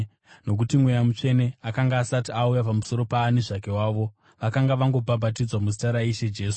nokuti Mweya Mutsvene akanga asati auya pamusoro paani zvake wavo; vakanga vangobhabhatidzwa muzita raIshe Jesu.